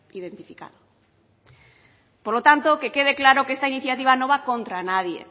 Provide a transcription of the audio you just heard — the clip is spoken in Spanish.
identificado por lo tanto que quede claro que esta iniciativa no va contra nadie